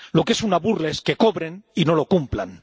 lo que es una burla es que cobren y no lo cumplan.